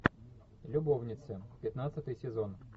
любовницы пятнадцатый сезон